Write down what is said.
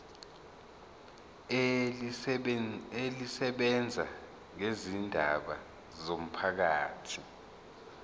elisebenza ngezindaba zomphakathi